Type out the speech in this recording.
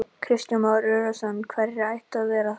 Kristján Már Unnarsson: Og hverjir ættu það að vera?